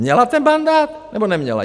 Měla ten mandát, nebo neměla?